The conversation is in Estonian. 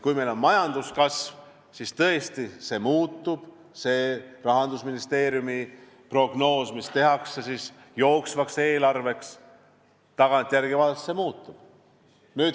Kui meil on majanduskasv, siis Rahandusministeeriumi prognoos, mis tehakse jooksva eelarve jaoks, tagantjärele vaadates muutub.